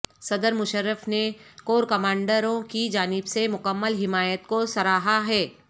صدر مشرف نے کور کمانڈروں کی جانب سے مکمل حمایت کو سراہا ہے